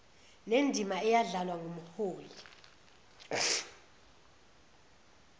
nendima eyadlalwa ngumholi